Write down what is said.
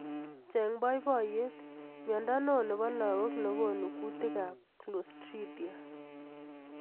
Cheng boiboyet! Mnyendo neo nebo lakok nekonu kutik ab Klostridia.